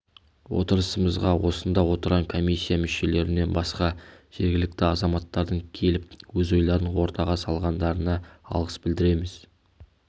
отырысымызға осында отырған комиссия мүшелерінен басқа жергілікті азаматтардың келіп өз ойларын ортаға салғандарына алғыс білдіреміз